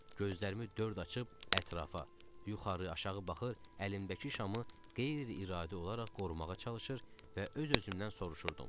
Gözlərimi dörd açıb ətrafa, yuxarı-aşağı baxır, əlimdəki şamı qeyri-iradi olaraq qorumağa çalışır və öz-özümdən soruşurdum: